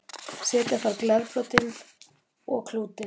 setja þarf glerbrotin og klútinn